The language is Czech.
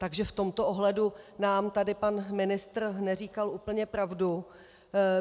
Takže v tomto ohledu nám tady pan ministr neříkal úplně pravdu.